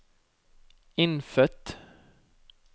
innfødt